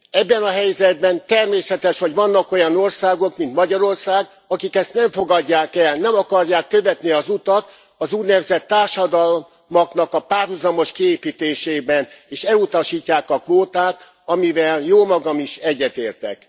Ebben a helyzetben természetes, hogy vannak olyan országok, mint Magyarország, amelyek ezt nem fogadják el, nem akarják követni az utat, az úgynevezett társadalmaknak a párhuzamos kiépítésében, és elutasítják a kvótát, amivel jómagam is egyetértek.